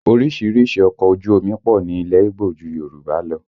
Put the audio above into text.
Orísìírísìí ọkọ̀ ojú omi pọ̀ ní ilẹ̀ Ígbò ju Yorùbá lọ